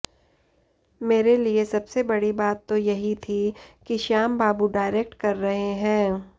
मेरे लिए सबसे बड़ी बात तो यही थी कि श्याम बाबू डायरेक्ट कर रहे हैं